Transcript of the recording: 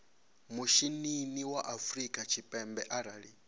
mishinini wa afrika tshipembe arali